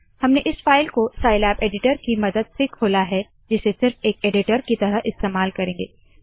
हमने इस फाइल को साइलैब एडिटर की मदद से खोला है जिसे सिर्फ एक एडिटर की तरह इस्तेमाल करेंगे